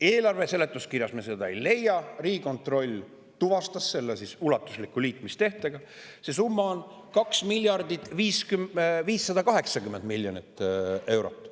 Eelarve seletuskirjast me seda ei leia, Riigikontroll tuvastas selle ulatusliku liitmistehtega: see summa on 2 miljardit ja 580 miljonit eurot.